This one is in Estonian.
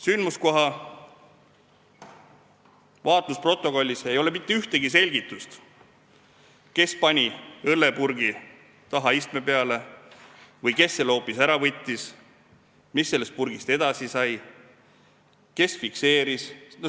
Sündmuskoha vaatlusprotokollis ei ole mitte ühtegi selgitust, kes pani õllepurgi istme peale või kes selle hoopis ära võttis, mis sellest purgist edasi sai, kes selle fikseeris.